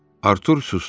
Artur susdu.